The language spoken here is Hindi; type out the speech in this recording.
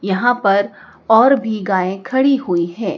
यहां पर और भी गायें खड़ी हुई हैं।